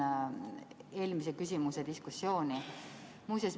Jätkan eelmise küsimuse diskussiooni.